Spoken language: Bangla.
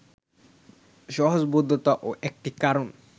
সহজবোধ্যতাও একটি কারণ